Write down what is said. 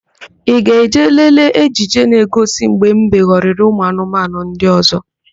Ị ga-eje lelee ejije na-egosi mgbe mbe ghọrịrị ụmụanụmanụ ndị ọ̀zọ́?